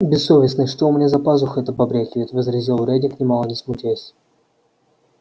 бессовестный что у меня за пазухой-то побрякивает возразил рэддит нимало не смутясь